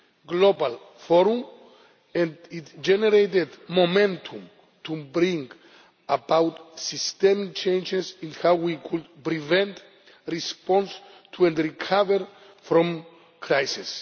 global forum and it generated momentum to bring about systemic changes in how we could prevent, respond to and recover from crises.